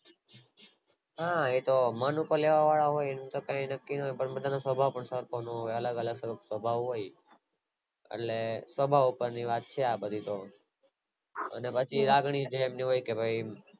હા એ તો પેલા પછી તો કાય નક્કી નો હોય પણ સ્વભાવ પર હોય બધા ના અલગ અલગ સ્વભાવ હોય એટલે સ્વભાવ ઉપર ની વાત છે અને પછી લાગણી પ્રેમ ની હોય